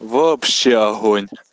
вообще огонь